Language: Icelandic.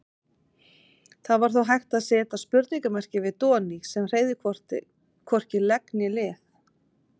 Það var þó hægt að seta spurningarmerki við Doni sem hreyfði hvorki legg né lið.